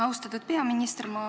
Austatud peaminister!